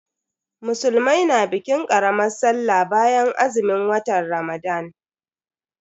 Musulmai na bikin karamar Sallah bayan azumin watan Ramadan.